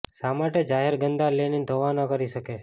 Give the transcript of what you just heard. શા માટે જાહેર ગંદા લેનિન ધોવા ન કરી શકે